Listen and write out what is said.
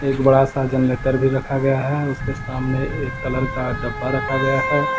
एक बड़ा सा जनरेटर भी रखा गया है उसके सामने एक कलर का डब्बा रखा गया है।